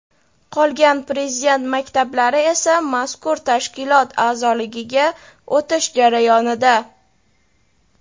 Qolgan Prezident maktablari esa mazkur tashkilot a’zoligiga o‘tish jarayonida.